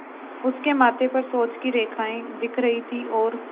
उसके माथे पर सोच की रेखाएँ दिख रही थीं और